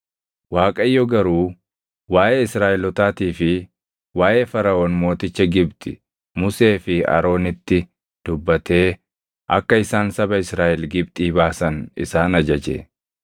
Waaqayyo garuu waaʼee Israaʼelootaatii fi waaʼee Faraʼoon mooticha Gibxi Musee fi Aroonitti dubbatee akka isaan saba Israaʼel Gibxii baasan isaan ajaje.